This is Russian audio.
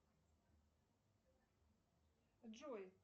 джой